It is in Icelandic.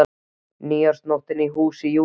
Nýársnóttin í húsi Júlíu sá til þess.